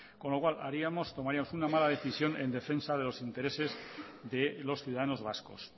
con lo cual haríamos tomaríamos una mala decisión en defensa de los intereses de los ciudadanos vascos